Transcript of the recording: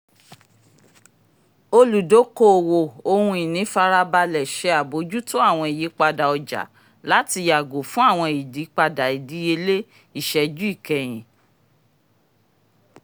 oludokoowo ohun-ìní farabalẹ̀ ṣe abojuto àwọn ìyípadà ọjà láti yàgò fún àwọn ìyípadà ìdíyelé iṣẹ́jú kẹyín